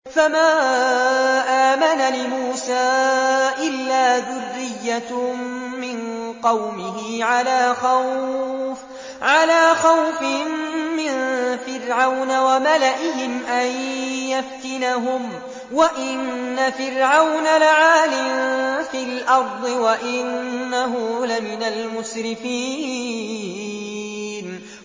فَمَا آمَنَ لِمُوسَىٰ إِلَّا ذُرِّيَّةٌ مِّن قَوْمِهِ عَلَىٰ خَوْفٍ مِّن فِرْعَوْنَ وَمَلَئِهِمْ أَن يَفْتِنَهُمْ ۚ وَإِنَّ فِرْعَوْنَ لَعَالٍ فِي الْأَرْضِ وَإِنَّهُ لَمِنَ الْمُسْرِفِينَ